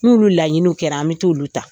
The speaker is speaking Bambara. N'olu laɲiniw kɛra an bi t'olu ta .